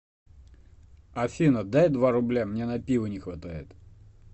афина дай два рубля мне на пиво не хватает